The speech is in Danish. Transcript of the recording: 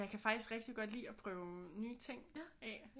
Jeg kan faktisk rigtig godt lide at prøve nye ting af